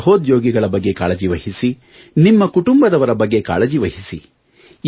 ನಿಮ್ಮ ಸಹೋದ್ಯೋಗಿಗಳ ಬಗ್ಗೆ ಕಾಳಜಿವಹಿಸಿ ನಿಮ್ಮ ಕುಟುಂಬದವರ ಬಗ್ಗೆ ಕಾಳಜಿವಹಿಸಿ